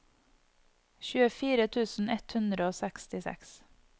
tjuefire tusen ett hundre og sekstiseks